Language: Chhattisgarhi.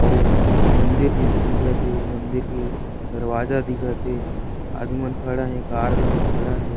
आउ मंदिर जैसा दिखत हे मंदिर के दरवाजा दिखत हे आदिमन खड़ा हे कार घलो खड़ा हे।